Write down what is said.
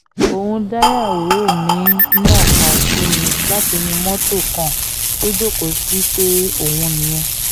òun dáìyàwó mi ń nàka sí mi látinú mọ́tò kan tó jókòó sí pé òun nìyẹn